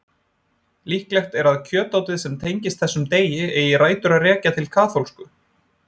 Líklegt er að kjötátið sem tengist þessum degi eigi rætur að rekja til katólsku.